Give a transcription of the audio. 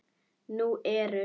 Nú eru